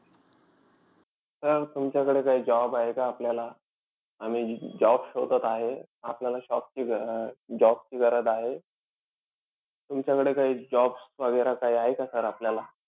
Sir तुमच्याकडे काही job आहे का आपल्याला? हा मी job शोधत आहे. आपल्याला shop job अं ची गरज आहे. तुमच्याकडे काई jobs वगैरा काई आहे का sir आपल्याला?